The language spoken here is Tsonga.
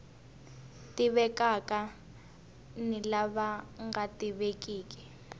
tivekaka ni lava nga tivekiki